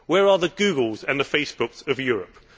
Where are the Googles and the Facebooks of Europe?